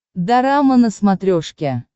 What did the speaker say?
дорама на смотрешке